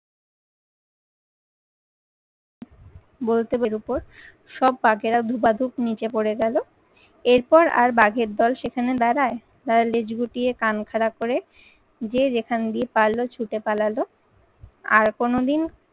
গোলটেপের উপর সব বাঘেরা ধোপা ধূপ নিচে পড়ে গেলো। এরপর আর বাঘের দল সেখানে দাঁড়ায় তারা লেজ গুটিয়ে কান খাড়া করে যে যেখানে দিয়ে পারলেও ছুতে পালালো আর কোনোদিন